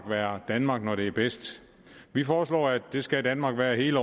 være danmark når det er bedst vi foreslår at det skal danmark være hele